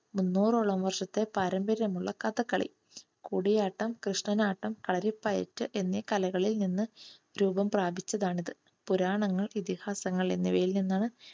മുന്നോറോളം വർഷത്തെ പാരമ്പര്യമുള്ള കഥകളി. കൂടിയാട്ടം കൃഷ്ണനാട്ടം കളരിപ്പയറ്റ് എന്നീ കലകളിൽ നിന്നും രൂപം പ്രാപിച്ചതാണ് ഇത്. പുരാണങ്ങൾ ഇതിഹാസങ്ങൾ എന്നിവയിൽ നിന്നാണ്